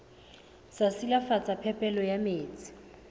sa silafatsa phepelo ya metsi